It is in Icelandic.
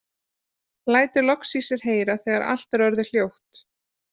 Lætur loks í sér heyra þegar allt er orðið hljótt.